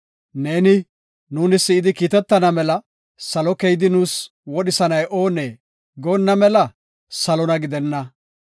Neeni, “Nuuni si7idi kiitetana mela salo keyidi nuus wodhisanay oonee?” goonna mela salona gidenna.